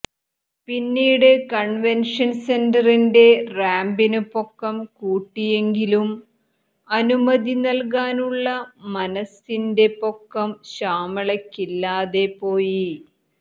പിന്നീടു കണ്വന്ഷന് സെന്ററിന്റെ റാമ്പിനു പൊക്കം കൂട്ടിയെങ്കിലും അനുമതി നല്കാനുള്ള മനസിന്റെ പൊക്കം ശ്യാമളയ്ക്കില്ലാതെ പോയി